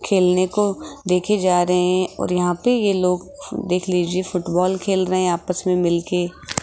खेलने को देखे जा रहे हैं और यहां पे ये लोग देख लीजिए फुटबॉल खेल रहे हैं आपस में मिल के --